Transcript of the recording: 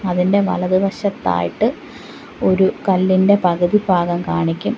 അതിൻ്റെ വലതു വശത്തായിട്ട് ഒരു കല്ലിൻ്റെ പകുതി ഭാഗം കാണിക്കും.